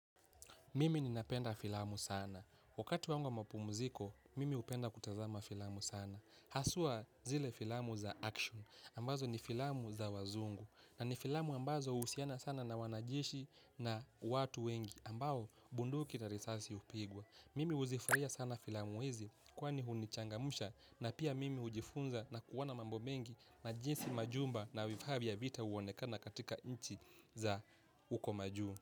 Mimi ninapenda filamu sana. Wakati wangu wa mapumziko, mimi hupenda kutazama filamu sana. Haswa zile filamu za action, ambazo ni filamu za wazungu. Na ni filamu ambazo huhusiana sana na wanajeshi na watu wengi, ambao bunduki na risasi hupigwa. Mimi huzifurahia sana filamu hizi, kwa nini hunichangamsha, na pia mimi hujifunza na kuona mambo mengi na jinsi majumba na vifaa vya vita huonekana katika nchi za huko majuu.